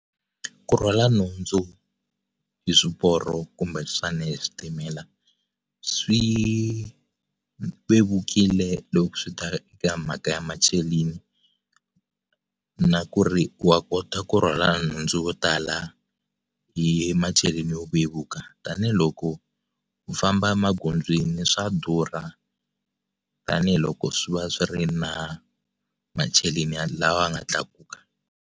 Ku rhwala nhundzu hi swiporo kumbe xana hi switimela swi vevukile loko swi ta eka mhaka ya macheleni na ku ri wa kota ku rhwala nhundzu yo tala hi macheleni yo vevuka tanihiloko u famba magondzweni swa durha tanihiloko swi va swi ri na macheleni lawa ya nga tlakuka.